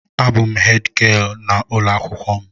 A bụ hèdgịelu n'ụlọ akwụkwọ m.